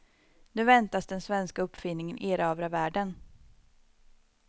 Nu väntas den svenska uppfinningen erövra världen.